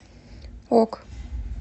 ок